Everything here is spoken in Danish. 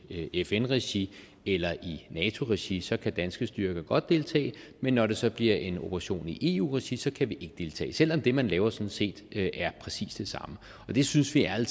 i fn regi eller i nato regi så kan danske styrker godt deltage men når det så bliver en operation i eu regi så kan vi ikke deltage selv om det man laver sådan set er præcis det samme det synes vi ærlig